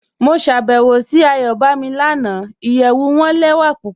Mo ṣàbẹ́wò sí Ayọ̀bámí lànà, ìyẹ̀wù wọn lẹwa pupọ.